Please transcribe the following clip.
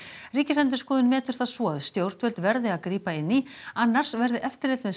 Ríkisendurskoðun metur það svo að stjórnvöld verði að grípa inn í annars verði eftirlit með